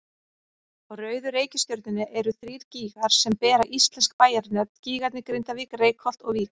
Á rauðu reikistjörnunni eru þrír gígar sem bera íslensk bæjarnöfn, gígarnir Grindavík, Reykholt og Vík.